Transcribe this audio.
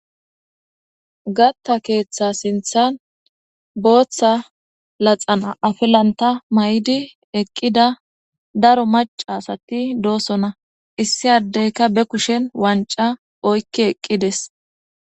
gatta keeththa sinthan booththa laxan afilanta may7di eqqida daro maca asati doosona issi addeyka be kushen wanca oykki eqqides